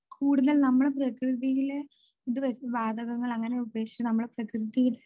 കൂടുതൽ നമ്മൾ പ്രകൃതിയിലെ ഇത് വാതകങ്ങൾ അങ്ങനെ ഉപേക്ഷിച്ചു നമ്മൾ പ്രകൃതി